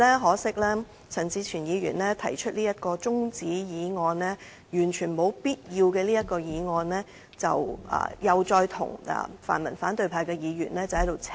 可惜陳志全議員提出這項完全沒有必要的中止待續議案，再與泛民反對派議員"扯貓尾"。